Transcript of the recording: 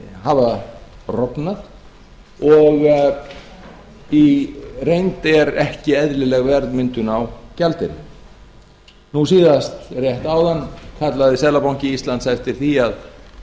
hafa rofnað og í reynd er ekki eðlileg verðmyndun á gjaldeyri rétt áðan kallaði seðlabanki íslands eftir því að